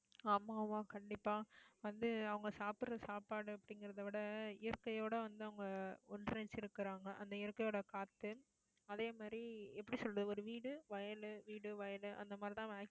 ஆமா, ஆமா கண்டிப்பா வந்து, அவங்க சாப்பிடற சாப்பாடு அப்படிங்கறதை விட, இயற்கையோட வந்து, அவங்க ஒண்றிணைஞ்சி இருக்கிறாங்க. அந்த இயற்கையோட காத்து அதே மாதிரி, எப்படி சொல்றது ஒரு வீடு, வயல், வீடு, வயலு, அந்த மாதிரிதான்